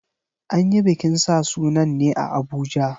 An yi bikin sa sunan ne a Abuja.